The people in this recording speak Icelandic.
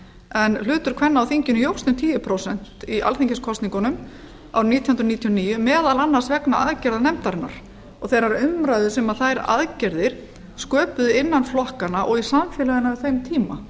en hlutur kvenna á þinginu jókst um tíu prósent í alþingiskosningunum árið nítján hundruð níutíu og níu meðal annars vegna aðgerða nefndarinnar og þeirrar umræðu sem þær aðgerðir sköpuðu innan flokkanna og í samfélaginu á þeim tíma